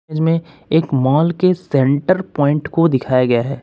इस में एक मॉल के सेंटर पॉइंट को दिखाया गया है।